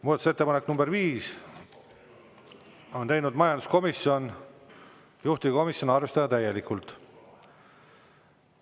Muudatusettepanek nr 5, on teinud majanduskomisjon, juhtivkomisjon: arvestada täielikult.